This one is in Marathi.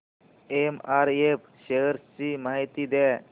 एमआरएफ शेअर्स ची माहिती द्या